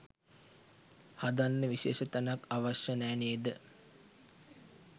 හදන්න විශේෂ තැනක් අවශ්‍ය නැ නේද?